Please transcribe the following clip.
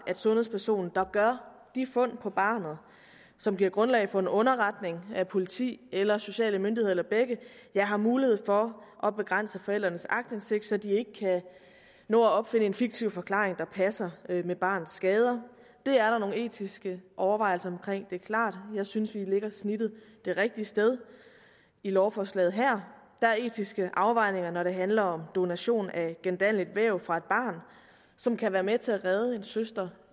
sundhedspersonen der gør de fund på barnet som giver grundlag for en underretning af politi eller sociale myndigheder eller begge har mulighed for at begrænse forældrenes aktindsigt så de ikke kan nå at opfinde en fiktiv forklaring der passer med barnets skader det er der nogle etiske overvejelser omkring det er klart jeg synes vi lægger snittet det rigtige sted i lovforslaget her der er etiske afvejninger når det handler om donation af gendanneligt væv fra et barn som kan være med til at redde en søster